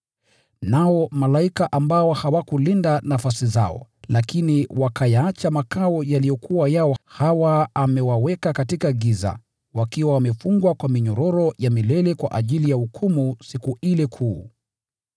Nao malaika ambao hawakulinda nafasi zao, lakini wakayaacha makao yao, hawa amewaweka katika giza, wakiwa wamefungwa kwa minyororo ya milele kwa ajili ya hukumu Siku ile kuu.